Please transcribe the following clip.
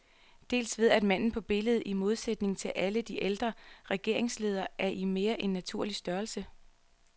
Dels ved at manden på billedet, i modsætning til alle de ældre regeringsledere, er i mere end naturlig størrelse.